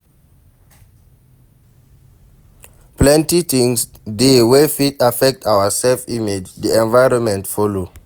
Plenty things dey wey fit affect our self image, di environment follow